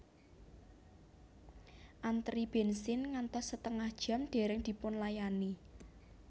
Antri bensin ngantos setengah jam dereng dipunlayani